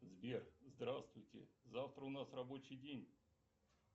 сбер здравствуйте завтра у нас рабочий день